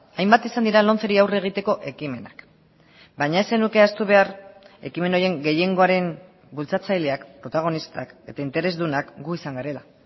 hainbat izan dira lomceri aurre egiteko ekimenak baina ez zenuke ahaztu behar ekimen horien gehiengoaren bultzatzaileak protagonistak eta interesdunak gu izan garela